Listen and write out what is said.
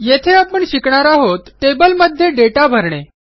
येथे आपण शिकणार आहोत टेबलमध्ये दाता भरणे